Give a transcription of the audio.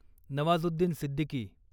Nawazuddin Siddiqui